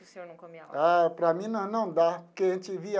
Que o senhor não comia lá? Ah para mim não não dá porque a gente via.